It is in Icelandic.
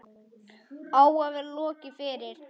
Á að vera lokið fyrir